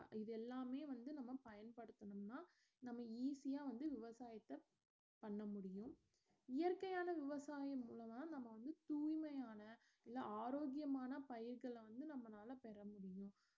இத எல்லாமே வந்து நாம பயன்படுத்துனம்னா நம்ம easy ஆ வந்து விவசாயத்த பண்ண முடியும் இயற்கையான விவசாயம் உள்ளதால் நாமவந்து தூய்மையான இல்ல ஆரோக்கயமான பயிர்கள வந்து நம்மனால பெற முடியும்